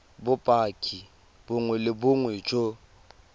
bopaki bongwe le bongwe jo